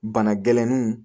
Bana gɛlɛninw